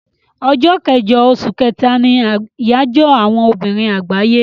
Ọjọ́ kẹjọ oṣù kẹ́ta ni àyájọ́ àwọn obìnrin àgbáyé.